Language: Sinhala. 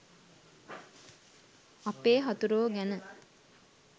අපේ හතුරෝ ගැන